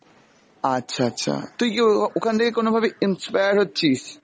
আচ্ছা আচ্ছা, তুই কি ও~ ওখান থেকে কোন ভাবে inspire হচ্ছিস?